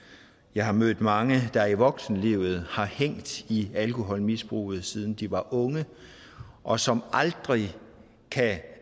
jeg har mødt mange der i voksenlivet har hængt i alkoholmisbruget siden de var unge og som aldrig